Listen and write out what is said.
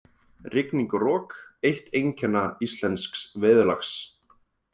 Rigning og rok- eitt einkenna íslensks veðurlags.